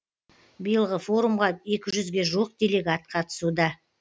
биылғы форумға екі жүзге жуық делегат қатысуда